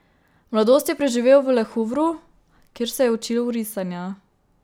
Mladost je preživel v Le Havru, kjer se je učil risanja.